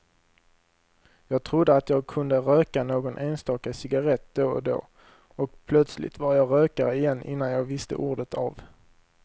Jag trodde att jag kunde röka någon enstaka cigarrett då och då, och plötsligt var jag rökare igen innan jag visste ordet av.